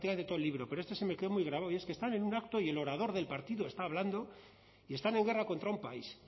me bueno prácticamente todo el libro pero este se me quedó muy gravado y es que están en un acto y el orador del partido está hablando y están en guerra contra un país